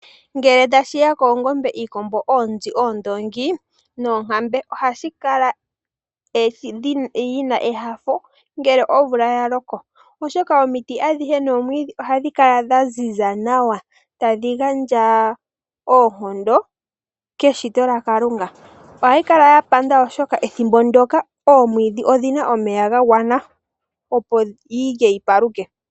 Ngele tashi ya koongombe, iikombo, oonzi, oondoongi noonkambe ohayi kala yi na enyanyu ngele omvula ya loko. Oshoka omiti adhihe nomwiidhi ohadhi kala dha ziza nawa tadhi gandja oonkondo keshito lya Kalunga. Ohayi kala ya panda oshoka ethimbo ndoka oomwiidhi odhi na omeya ga gwana opo yilye yi paluke.